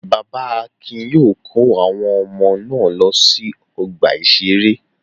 Bàbá Akin yóò kó àwọn ọmọ náà lọ sí ọgbà-ìṣeré.